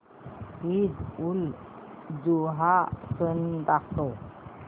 ईदउलजुहा सण दाखव